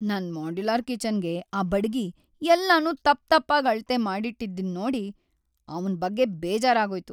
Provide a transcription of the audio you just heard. ನನ್ ಮಾಡ್ಯುಲರ್ ಕಿಚನ್‌ಗೆ‌ ಆ ಬಡಗಿ ಎಲ್ಲನೂ ತಪ್ಪ್ ತಪ್ಪಾಗ್ ಅಳತೆ ಮಾಡಿಟ್ಟಿದ್ದಿದ್ನೋಡಿ ಅವ್ನ್‌ ಬಗ್ಗೆ ಬೇಜಾರಾಗೋಯ್ತು.